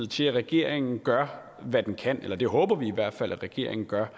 til at regeringen gør hvad den kan vi håber i hvert fald at regeringen gør